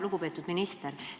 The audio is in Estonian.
Lugupeetud minister!